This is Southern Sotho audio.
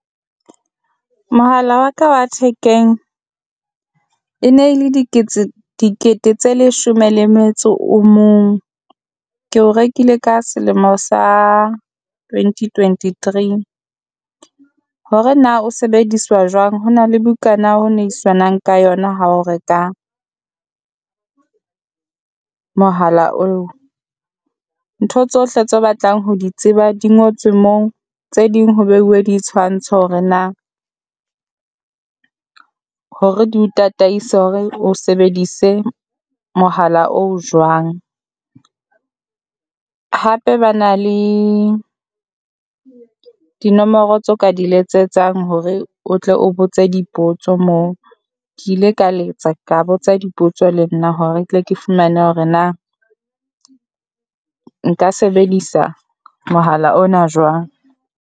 Mohala wa ka wa thekeng e ne e le dikete tse leshome le metso o mong, ke o rekile ka selemo sa twenty twenty-three. Hore na o sebediswa jwang ho na le bukana ho neiswanang ka yona ha o reka mohala oo, ntho tsohle tse batlang ho di tseba di ngotswe moo tse ding ho beuwe di tshwantsho hore na hore di o tataisa hore o sebedise mohala o jwang. Hape ba na le dinomoro tso ka di letsetsang hore o tle o botse dipotso moo, ke ile ka letsa ka botsa dipotso le nna hore tle ke fumane hore na nka sebedisa mohala ona jwang.